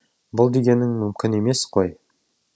бұл дегенің мүмкін емес қой